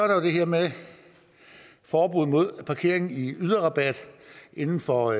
der jo det her med at forbuddet mod parkering i yderrabat inden for